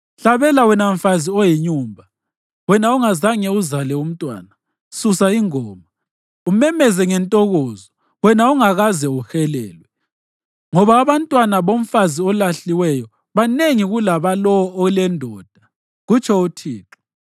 “Hlabela wena mfazi oyinyumba, wena ongazange uzale umntwana; susa ingoma, umemeze ngentokozo, wena ongakaze uhelelwe ngoba abantwana bomfazi olahliweyo banengi kulabalowo olendoda,” kutsho uThixo.